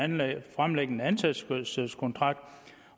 man fremlægge en ansættelseskontrakt